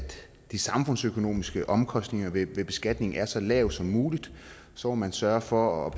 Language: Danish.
de samfundsøkonomiske omkostninger ved beskatningen er så lave som muligt så må man sørge for at